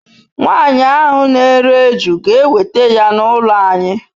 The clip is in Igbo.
Nwanyi ahu n'ere eju ga eweta ya n'ulo anyi